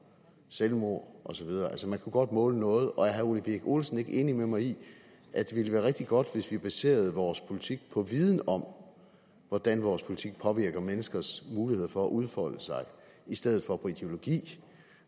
selvmord og så videre altså man kunne godt måle noget og er herre ole birk olesen ikke enig med mig i at det ville være rigtig godt hvis vi baserede vores politik på viden om hvordan vores politik påvirker menneskers muligheder for at udfolde sig i stedet for på ideologi